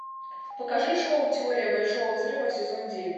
покажи шоу теория большого взрыва сезон девять